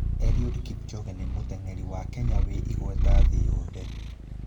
Eliud Kipchoge nĩ mũteng'eri wa Kenya wĩ igweta thĩ yothe.